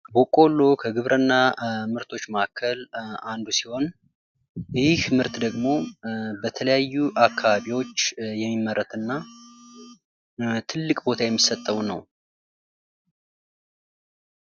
ቦቆሎ ከግብርና ምርቶች መካከል አንዱ ሲሆን ይህ ምርት ደግሞ በተለያዩ አካባቢዎች የሚመረትና ትልቅ ቦታ የሚሰጠው ነው።